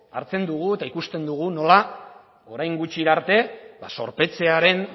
hartzen dugu eta ikusten dugu nola orain gutxira arte zorpetzearen